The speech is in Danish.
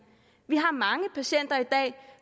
vi har mange patienter